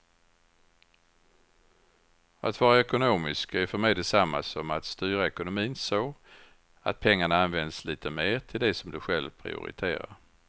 Att vara ekonomisk är för mig detsamma som att styra ekonomin så att pengarna används lite mer till det som du själv prioriterar.